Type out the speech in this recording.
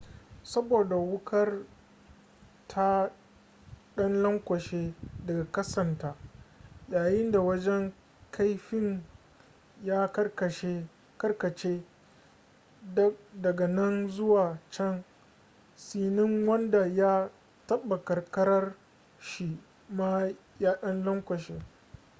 saboda wukar ta dan lankwashe daga kasanta yayinda wajen kaifin ya karkace dag nan zuwa can tsinin wanda ya taba kankarar shi ma ya dan lankwashe